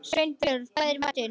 Sveinbjörg, hvað er í matinn?